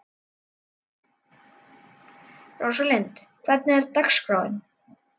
Róslind, hvernig er dagskráin?